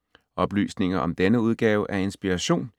Oplysninger om denne udgave af Inspiration